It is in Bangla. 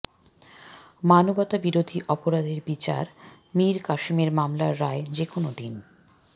মানবতাবিরোধী অপরাধের বিচার মীর কাসেমের মামলার রায় যেকোনো দিন